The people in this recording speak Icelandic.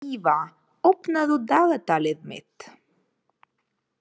Íva, opnaðu dagatalið mitt.